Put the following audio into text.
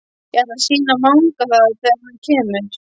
Ég ætla að sýna Manga það þegar hann kemur.